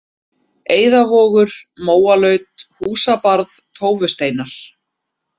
Eiðavogur, Mólaut, Húsabarð, Tófusteinar